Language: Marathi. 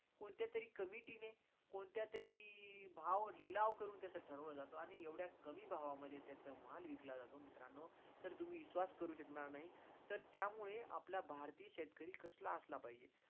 कोणत्यातरी committee ने, कोणत्या तरी भाव लिलाव करून त्याचा ठरवलं जातो आणि येवढ्या कमी भावा मध्ये त्याच्या माळ विकला जातो. मित्रानो, तर तुम्ही विश्वास करू शकणार नाही तर त्यामुळे आपला भारती शेतकरी कसला असला पाहिजे